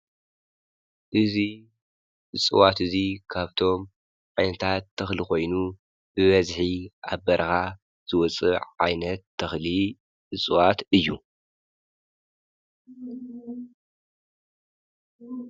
እዙይ ዝፅዋት እዙይ ካብቶም ዓይነታት ተኽሊ ኾይኑ ብበዝሒ ኣብ በርኻ ዘወፅእ ዓይነት ተኽሊ እፅዋት እዩ